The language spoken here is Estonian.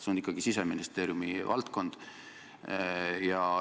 See on ikkagi Siseministeeriumi valdkond.